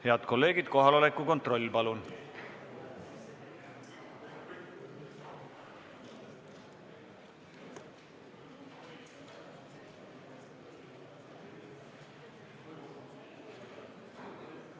Head kolleegid, kohaloleku kontroll, palun!